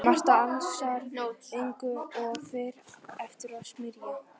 Marta ansar engu og fer aftur að smyrja.